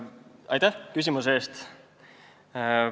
Aitäh küsimuse eest!